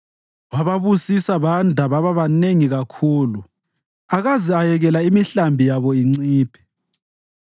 wababusisa banda baba banengi kakhulu, akaze ayekela imihlambi yabo inciphe.